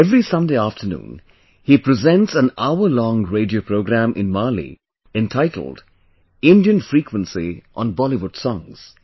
Every Sunday afternoon, he presents an hour long radio program in Mali entitled 'Indian frequency on Bollywood songs